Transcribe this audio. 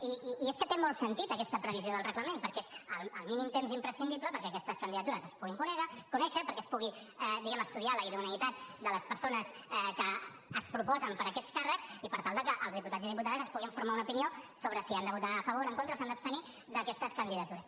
i és que té molt sentit aquesta previsió del reglament perquè és el mínim temps imprescindible perquè aquestes candidatures es puguin conèixer perquè es pugui diguem ne estudiar la idoneïtat de les persones que es proposen per a aquests càrrecs i per tal de que els diputats i diputades es puguin formar una opinió sobre si han de votar a favor en contra o s’han d’abstenir d’aquestes candidatures